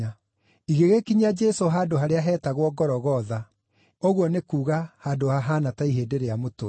Igĩgĩkinyia Jesũ handũ harĩa heetagwo Gologotha (ũguo nĩ kuuga Handũ hahaana ta Ihĩndĩ rĩa Mũtwe).